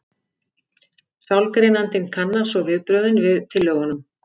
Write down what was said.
Sálgreinandinn kannar svo viðbrögðin við tillögunum.